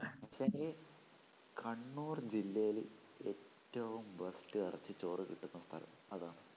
കണ്ണൂർ ജില്ലേല് ഏറ്റവും best എറച്ചി ചോറ് കിട്ടുന്ന സ്ഥലം അതാണ്